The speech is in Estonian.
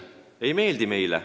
See ei meeldi meile.